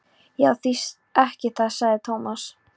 Já, því ekki það sagði Thomas.